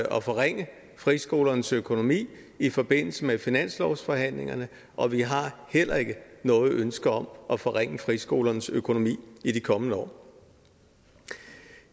at forringe friskolernes økonomi i forbindelse med finanslovsforhandlingerne og vi har heller ikke noget ønske om at forringe friskolernes økonomi i de kommende år